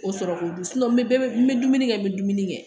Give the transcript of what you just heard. O sɔrɔ ka bon n bɛ dumuni kɛ n bɛ dumuni kɛ